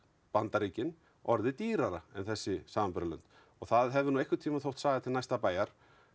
Bandaríkin orðið dýrara en þessi samanburðarlönd og það hefur nú einhverntíman þótt saga til næsta bæjar